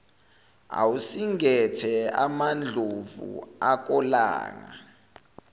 awusingethe amandlovu akolanga